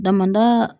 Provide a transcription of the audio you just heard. Damada